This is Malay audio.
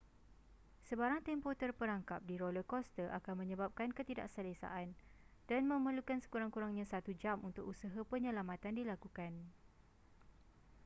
sebarang tempoh terperangkap di roller coaster akan menyebabkan ketidakselesaan dan memerlukan sekurang-kurangnya satu jam untuk usaha penyelamatan dilakukan